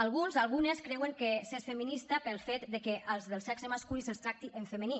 alguns algunes creuen que s’és feminista pel fet de que als del sexe masculí se’ls tracti en femení